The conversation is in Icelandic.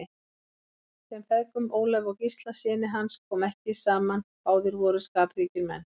Þeim feðgum, Ólafi og Gísla syni hans, kom ekki saman, báðir voru skapríkir menn.